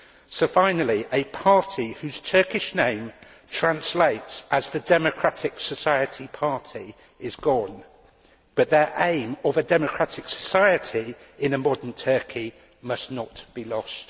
So, finally, a party whose Turkish name translates as the Democratic Society Party' is gone, but its aim of a democratic society in a modern Turkey must not be lost.